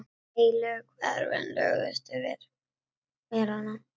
Heilu hverfin lögðust yfir melana.